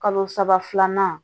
Kalo saba filanan